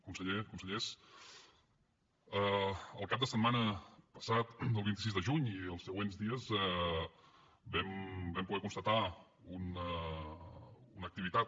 conseller consellers el cap de setmana passat el vint sis de juny i els següents dies vam poder constatar una activitat